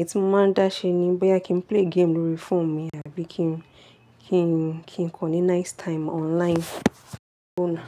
Ètí mo máa ń dá ṣe ni bóyá kí n play game lórí phone mi àbí kí n, kí n, kí n kọ ní nice time online, ó na.